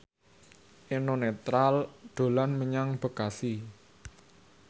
Eno Netral dolan menyang Bekasi